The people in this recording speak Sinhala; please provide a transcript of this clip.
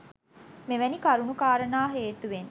මෙවැනි කරුණු කාරණා හේතුවෙන්